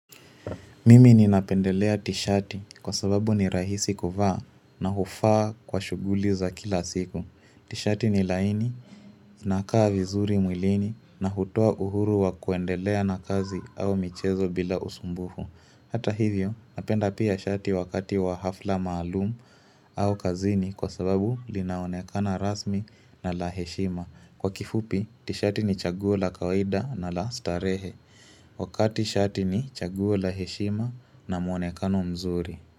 Mimi ninapendelea tishati kwa sababu ni rahisi kuvaa na hufaa kwa shughuli za kila siku. Tishati ni laini, inakaa vizuri mwilini na hutoa uhuru wa kuendelea na kazi au michezo bila usumbufu. Hata hivyo, napenda pia shati wakati wa hafla maalumu au kazini kwa sababu linaonekana rasmi na laheshima. Kwa kifupi, tishati ni chaguo la kawaida na la starehe. Wakati shati ni chaguo la heshima na muonekano mzuri.